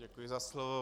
Děkuji za slovo.